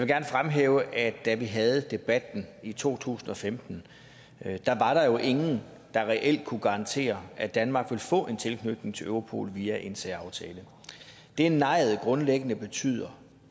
gerne fremhæve at da vi havde debatten i to tusind og femten var der jo ingen der reelt kunne garantere at danmark ville få en tilknytning til europol via en særaftale det nejet grundlæggende betyder